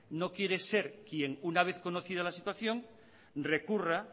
no quiere ser quien una vez conocida la situación recurra